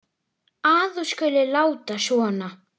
að þú skulir láta svona.